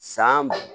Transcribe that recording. San